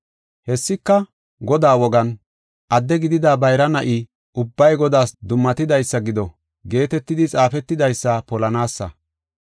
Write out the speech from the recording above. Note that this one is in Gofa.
Hessika, Godaa wogan, “Adde gidida bayra na7i ubbay Godaas dummatidaysa gido” geetetidi xaafetidaysa polanaasa.